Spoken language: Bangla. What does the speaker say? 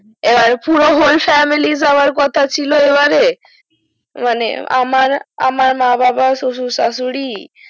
আবার পুরো hole family যাওয়ার কথা ছিল এবারে মানে আমার আমার মা বাবা শশুর শাশুড়ি